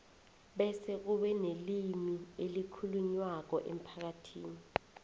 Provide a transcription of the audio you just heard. bese kube nelimi elikhulunywako emphakathini